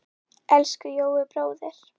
Elsku Jói bróðir.